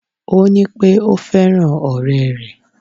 Ó ní pé ò fẹ́ràn òré rè